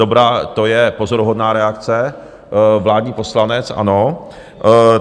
Dobrá, to je pozoruhodná reakce, vládní poslanec, ano.